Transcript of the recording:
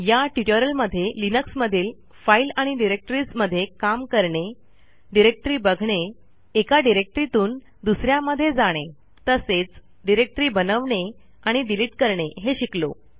या ट्युटोरियलमध्ये लिनक्समधील फाईल आणि डिरेक्टरीज मधे काम करणे डिरेक्टरी बघणे एका डिरेक्टरीतून दुसऱ्यामध्ये जाणे तसेच डिरेक्टरी बनवणे आणि डिलीट करणे हे शिकलो